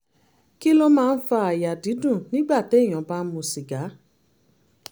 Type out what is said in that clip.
kí ló máa ń fa àyà dídùn nígbà téèyàn bá ń mu sìgá?